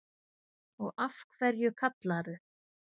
Og af hverju kallarðu